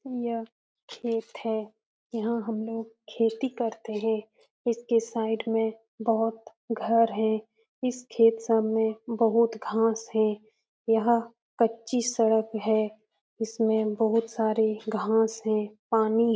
यह खेत है यहां हम लोग खेती करते हैं इसके साइड में बहुत घर है इस खेत सामने बहुत घास है यह कच्ची सड़क है इसमें बहुत सारे घास है पानी --